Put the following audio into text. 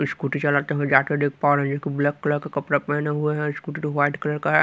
Scooty चलाते हुए जाते देख पा रही है एक ब्लैक कलर का कपड़ा पहने हुए है स्कूटी तो व्हाइट कलर का है।